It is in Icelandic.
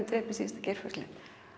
drepa síðasta geirfuglinn